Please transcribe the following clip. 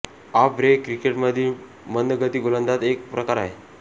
of break क्रिकेटमधील मंदगती गोलंदाजीचा एक प्रकार आहे